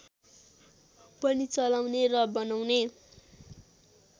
पनि चलाउने र बनाउने